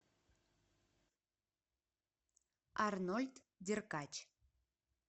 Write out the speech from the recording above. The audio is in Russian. арнольд деркач